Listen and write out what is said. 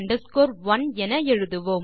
L 1 என எழுதுவோம்